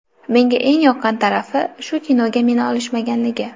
Menga eng yoqqan tarafi, shu kinoga meni olishmaganligi.